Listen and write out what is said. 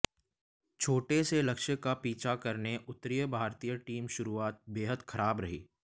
छोटे से लक्ष्य का पीछा करने उतरी भारतीय टीम शुरुआत बेहद खराब रही